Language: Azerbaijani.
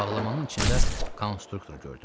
Bağlamanın içində konstruktor gördüm.